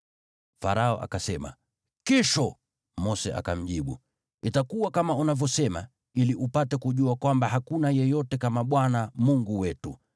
Farao akasema, “Kesho.” Mose akamjibu, “Itakuwa kama unavyosema, ili upate kujua kwamba hakuna yeyote kama Bwana Mungu wetu.